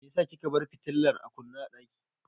Meyasa kika bar fitilar a kunne a ɗaki?